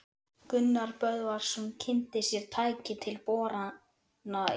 Gunnar Böðvarsson kynnti sér tæki til borana í